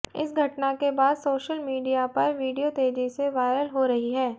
इस घटना के बाद सोशल मीडिया पर वीडियो तेजी से वायरल हो रही है